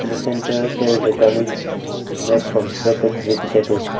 the center there is a garnish made from shredded vegetables.